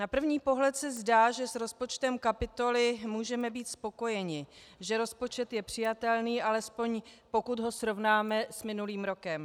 Na první pohled se zdá, že s rozpočtem kapitoly můžeme být spokojeni, že rozpočet je přijatelný, alespoň pokud ho srovnáme s minulým rokem.